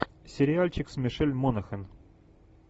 сериальчик с мишель монахэн